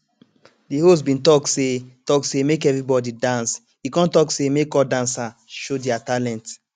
de host bin talk say talk say make everybody dance e come talk say make all dancer show their talent